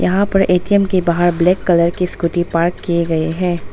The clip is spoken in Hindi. वहां पर ए_टी_एम के बाहर ब्लैक कलर की स्कूटी पार्क किए गए हैं।